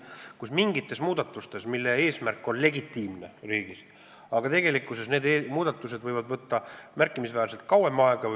Ma mõtlen mingeid muudatusi, millel on legitiimne eesmärk riigis, aga mille tegemine võib tegelikkuses märkimisväärselt kauem aega võtta.